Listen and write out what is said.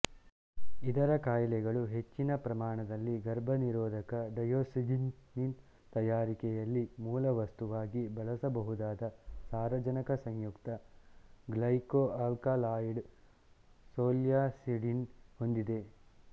ಇದರ ಕಾಯಿಗಳು ಹೆಚ್ಚ್ಚಿನ ಪ್ರಮಾಣದಲ್ಲಿ ಗರ್ಭನಿರೋಧಕ ಡಯೋಸ್ಜಿನಿನ್ ತಯಾರಿಕೆಯಲ್ಲಿ ಮೂಲವಸ್ತುವಾಗಿ ಬಳಸಬಹುದಾದ ಸಾರಜನಕ ಸಂಯುಕ್ತ ಗ್ಲೈಕೊಆಲ್ಕಲಾಯಿಡ್ ಸೊಲ್ಯಾಸಿಡಿನ್ ಹೊಂದಿವೆ